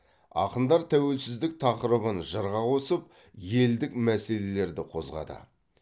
ақындар тәуелсіздік тақырыбын жырға қосып елдік мәселелерді қозғады